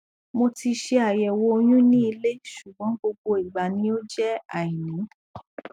mo ti ṣe àyẹwò oyún ní ilé ṣùgbọn gbogbo ìgbà ni ó jẹ àìní